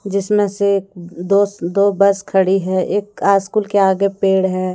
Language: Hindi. जिसमें से अं दो दो बस खड़ी है एक आ स्कूल के आगे पेड़ हैं।